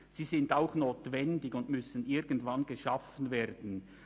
Sie sind auch notwendig und müssen irgendwann geschaffen werden.